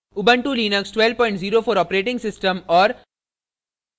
* ubuntu Linux 1204 os और